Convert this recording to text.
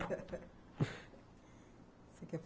Você quer fa